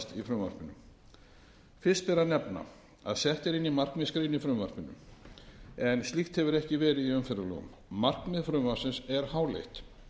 fyrst ber að nefna að sett er inn markmiðsgrein í frumvarpið en slíkt hefur ekki verið í umferðarlögum markmið frumvarpsins er háleitt